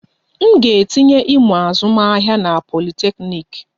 M ga-etinye ịmụ azụmahịa na politeknik